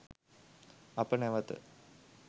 අප නැවත